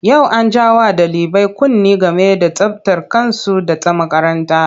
Yau an ja wa ɗalibai kunne game da tsabtar kansu da ta makaranta.